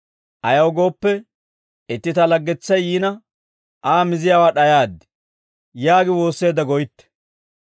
Ayaw gooppe, itti ta laggetsay yiina Aa miziyaawaa d'ayaad› yaagi woosseedda goytte.